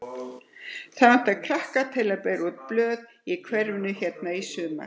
Það vantar krakka til að bera út blöð í hverfið hérna í sumar.